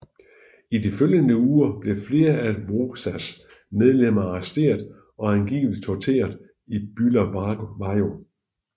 I de følgende uger blev flere af WOZAs medlemmer arresteret og angiveligt tortureret i Bulawayo